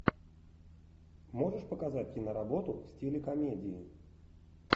можешь показать киноработу в стиле комедии